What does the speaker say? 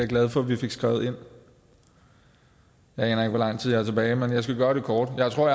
glad for at vi fik skrevet ind jeg aner ikke hvor lang tid jeg har tilbage men jeg skal gøre det kort jeg tror